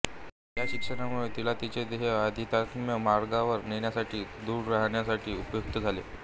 या शिक्षणामुळे तिला तिचे ध्येय आध्यात्मिक मार्गावर नेण्यासाठी दृढ राखण्यासाठी उपयुक्त झाले